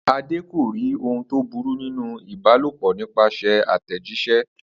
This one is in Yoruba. Àde kò rí ohun tó burú nínú ìbalòpò nípasè̩ àtè̩jís̩é